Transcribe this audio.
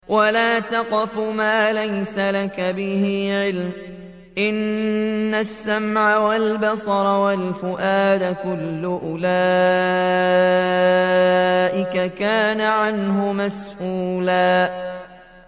وَلَا تَقْفُ مَا لَيْسَ لَكَ بِهِ عِلْمٌ ۚ إِنَّ السَّمْعَ وَالْبَصَرَ وَالْفُؤَادَ كُلُّ أُولَٰئِكَ كَانَ عَنْهُ مَسْئُولًا